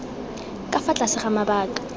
ka fa tlase ga mabaka